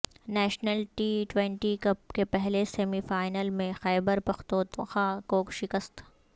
national T twenty cup کے پہلے semi final میں خیبر پختونخوا کو شکست